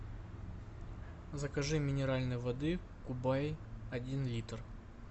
закажи минеральной воды кубай один литр